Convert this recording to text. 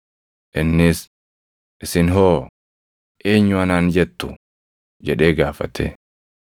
Innis, “Isin hoo? Eenyu anaan jettu?” jedhee gaafate.